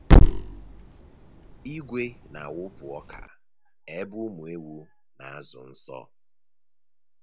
Igwe na-awụpụ ọka ebe ụmụ ewu na-azụ nso.